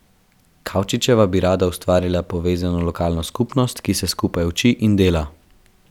Kavčičeva bi rada ustvarila povezano lokalno skupnost, ki se skupaj uči in dela.